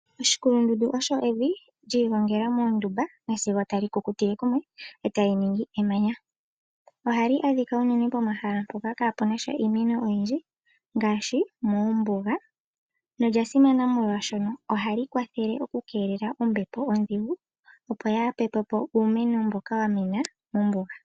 Oshikulundundu osho evi li igongela moondumba sigo tali kukutile kumwe e tali ningi emanya. Ohali adhika unene pomahala mpoka kaapu na sha iimeno oyindji ngaashi moombuga nolya simana molwaashono ohali kwathele okukeelela ombepo ondhigu opo yaa hapepe po uumeno mboka wa mena mombuga.